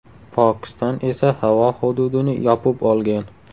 Pokiston esa havo hududini yopib olgan.